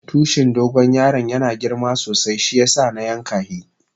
Tushin dogo yaron yana girma sosai shiyasa na yanka hi.